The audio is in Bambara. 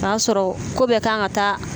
T'a sɔrɔ ko bɛ kan ka taa